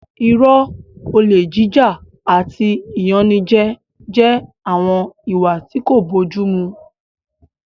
Irọ́, olè jíjà àti ìyanijẹ jẹ́ àwọn ìwà tí kò bójú mu